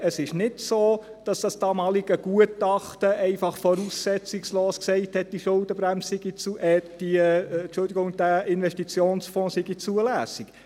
Es ist nicht so, dass das damalige Gutachten einfach voraussetzungslos sagte, dieser Investitionsfonds sei zulässig.